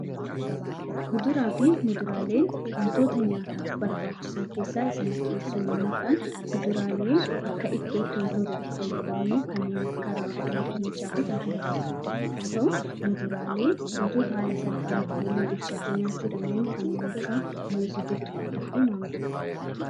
Kuduraa fi muduraaleen wantoota nyaataaf barbaachisan keessaa Isa murteessoo yemmuu ta'an. Kuduraaleen akka ittootti wantoota itti fayyadamnu kanneen akka raafuu, dinnichaa fi Kan kana fakkaatan yemmuu tahu, muduraaleen wantoota haala salphaan yemmuu bilchaate nyaachuu dandeenyu kanneen akka muuzii, burtukaanii fi mangoo fa'adha.